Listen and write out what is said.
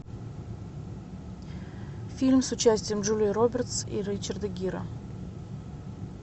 фильм с участием джулии робертс и ричарда гира